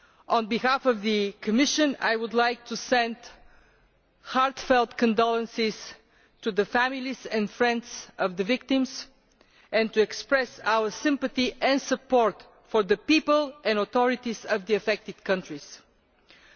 On behalf of the Commission, I would like to send heartfelt condolences to the families and friends of the victims, and to express our sympathy and support for the people and authorities of the countries affected.